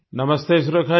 नमस्ते सुरेखा जी